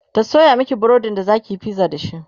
ta Sayo Maki burodin da zakiyi pizza dashi?